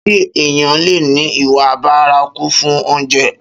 Ṣé èèyàn leè ní ìwà bárakú fún oúnjẹ?